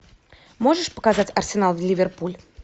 можешь показать арсенал ливерпуль